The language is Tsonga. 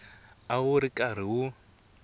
a wu ri karhi wu